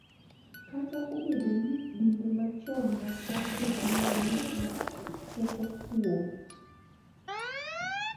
Kata obedo ni dinde machon mag Afrika ne nigi teko kuom .